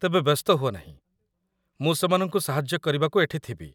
ତେବେ ବ୍ୟସ୍ତ ହୁଅ ନାହିଁ, ମୁଁ ସେମାନଙ୍କୁ ସାହାଯ୍ୟ କରିବାକୁ ଏଠି ଥିବି ।